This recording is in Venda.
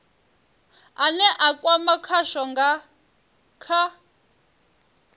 ane a kwama khasho kha